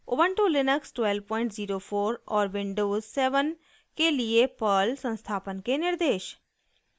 Ubuntu Linux 1204 और Windows 7 के लिए पर्ल संस्थापन के निर्देश